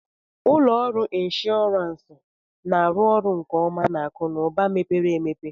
Ụlọ ọrụ inshọransị na-arụ ọrụ nke ọma na akụ na ụba mepere emepe